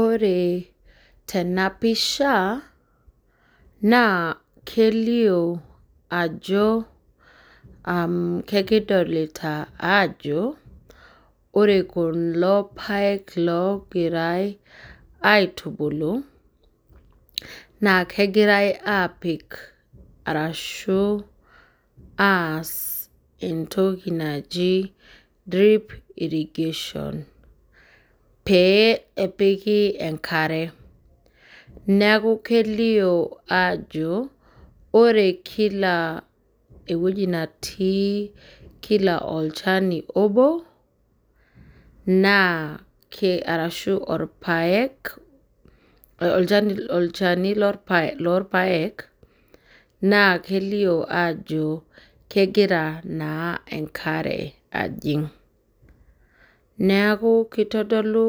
Ore tenapisha naa kelio ajo ore kulo paek loogirae aitubulu naa kegirae apik ashu aas entoki naji drip irrigation pee epiki enkare ,neeku kelio ajo ore kila netii Kila olchani obo arashu olchani lorpaek naa kelio ajo kegira naa enkare ajing. Neeku kitodolu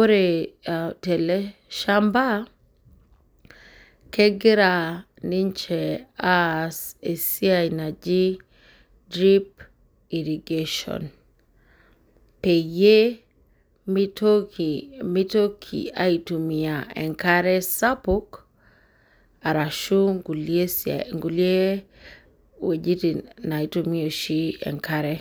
ore teleshampa ,kegira ninche aas entoki naji drip irrigation peyie mitoki aitumiyia enkare sapuk, arashu nkulie wejitin naitumiyae oshi enkare.